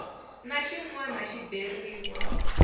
na xin wana xi beriwa